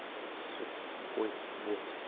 сука тупой бот